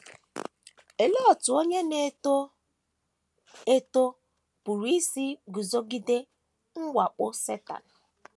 Olee otú onye na - eto eto pụrụ isi guzogide mwakpo Setan?